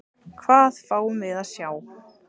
Hvað fáum við að sjá?